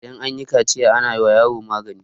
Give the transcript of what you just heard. idan an yi kaciya ana wa yaro magani